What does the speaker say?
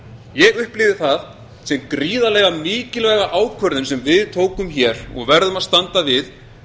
ég upplifi það sem gríðarlega mikilvæga ákvörðun sem við tókum og verðum að standa við